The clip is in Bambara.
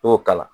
I y'o k'a la